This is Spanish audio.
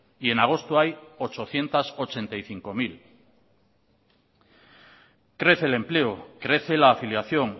y en agosto hay ochocientos ochenta y cinco mil crece el empleo crece la afiliación